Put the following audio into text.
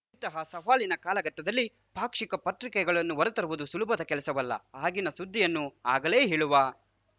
ಇಂತಹ ಸವಾಲಿನ ಕಾಲಘಟ್ಟದಲ್ಲಿ ಪಾಕ್ಷಿಕ ಪತ್ರಿಕೆಗಳನ್ನು ಹೊರತರುವುದು ಸುಲಭದ ಕೆಲಸವಲ್ಲ ಆಗಿನ ಸುದ್ದಿಯನ್ನು ಆಗಲೇ ಹೇಳುವ